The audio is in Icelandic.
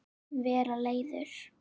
Vera leiður?